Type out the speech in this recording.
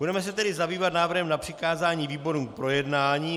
Budeme se tedy zabývat návrhem na přikázání výborům k projednání.